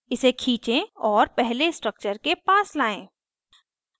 इसे खींचें और पहले structure के पास लायें